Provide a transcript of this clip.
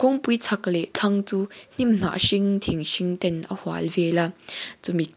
kawngpui chak leh thlang chu hnimhnah hring thing hring ten a hual vel a chumi --